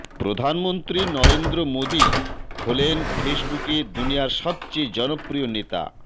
প্রধানমন্ত্রী নরেন্দ্র মোদী হলেন ফেসবুকে দুনিয়ার সবচেয়ে জনপ্রিয় নেতা